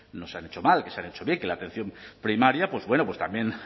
no se han hecho mal que se han hecho bien que la atención primaria pues bueno pues también